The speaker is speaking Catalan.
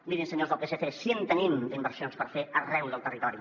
mirin senyors del psc si en tenim d’inversions per fer arreu del territori